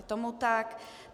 Je tomu tak.